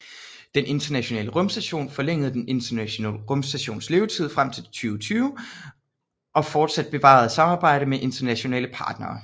Den Internationale Rumstation Forlænge Den Internationale Rumstations levetid frem til 2020 og forsat bevare samarbejde med internationale partnere